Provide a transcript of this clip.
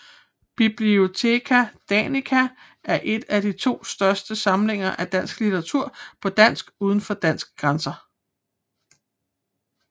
Bibliotheca Danica er en af de to største samlinger af dansk literatur på dansk udenfor Danmarks grænser